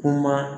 Kuma